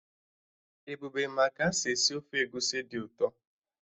Ebube ma ka-esi esi ofe egusi dị ụtọ